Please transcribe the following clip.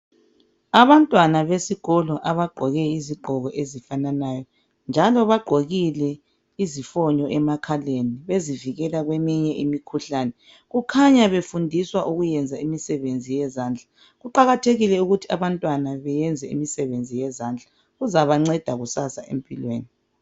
abantwana besikolo abagqoke izigqoko ezifananayo njalo bagqokile izifonyo emakhaleni bezivikela kweminye imikhuhlane kukhanya befundiswa ukuyenza imisebenzi yezandla kuqakathekile ukuthi abantwana beyenze imisebenzi yezandla kuzabanceda kusasa empilweni